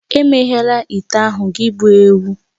Emeghela ite ahụ gị bụ ewu!